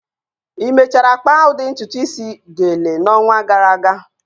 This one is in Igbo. Ị mechara kpaa udi ntutu isi, "gele" n'ọnwa gara aga?